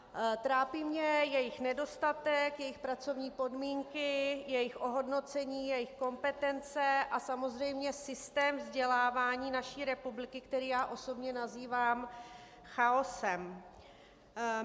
Trápí mě jejich nedostatek, jejich pracovní podmínky, jejich ohodnocení, jejich kompetence a samozřejmě systém vzdělávání naší republiky, který já osobně nazývám chaosem.